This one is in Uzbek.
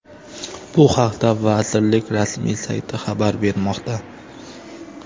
Bu haqda vazirlik rasmiy sayti xabar bermoqda .